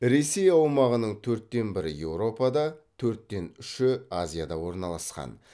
ресей аумағының төрттен бірі еуропада төрттен үші азияда орналасқан